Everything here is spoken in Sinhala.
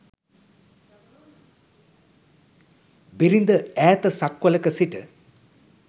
බිරිඳ ඈත සක්වලක සිට